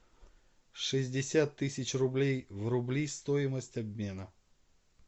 шестьдесят тысяч рублей в рубли стоимость обмена